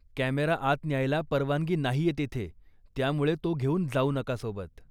Camera आत न्यायला परवानगी नाहीये तिथे, त्यामुळे तो घेऊन जाऊ नका सोबत.